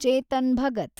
Chetan Bhagat